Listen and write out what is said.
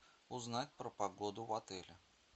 узнать про погоду в отеле